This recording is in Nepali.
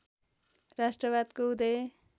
राष्ट्रवादको उदय